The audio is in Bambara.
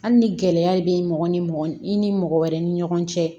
Hali ni gɛlɛya bɛ mɔgɔ ni i ni mɔgɔ wɛrɛ ni ɲɔgɔn cɛ